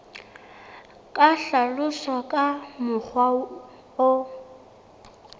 ka hlaloswa ka mokgwa o